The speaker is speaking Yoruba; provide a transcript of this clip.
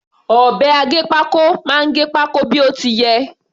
Ọ̀bẹ aggépákó máa gẹ pákó bí ó ti yẹ.